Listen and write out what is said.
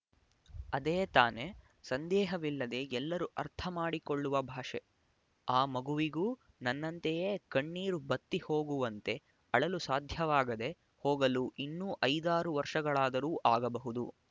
ಅದೇ ತಾನೇ ಸಂದೇಹವಿಲ್ಲದೆ ಎಲ್ಲರೂ ಅರ್ಥ ಮಾಡಿಕೊಳ್ಳುವ ಭಾಷೆ ಆ ಮಗುವಿಗೂ ನನ್ನಂತೆಯೇ ಕಣ್ಣೀರು ಬತ್ತಿ ಹೋಗುವಂತೆ ಅಳಲು ಸಾಧ್ಯವಾಗದೇ ಹೋಗಲು ಇನ್ನೂ ಐದಾರು ವರ್ಷಗಳಾದರೂ ಆಗಬಹುದು